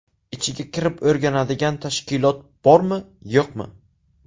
Ichiga kirib o‘rganadigan tashkilot bormi-yo‘qmi?